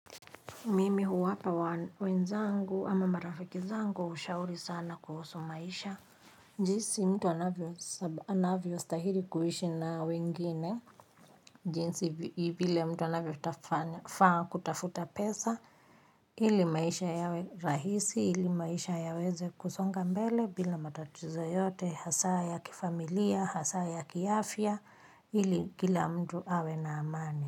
Mimi huwapa wenzangu ama marafiki zangu ushauri sana kuhusu maisha jinsi mtu anavyo astahili kuishi na wengine jinsi vile mtu anafaa kutafuta pesa ili maisha yawe rahisi, ili maisha yaweze kusonga mbele bila matatizo yoyote hasa ya kifamilia, hasa ya kiafya, ili kila mtu awe na amani.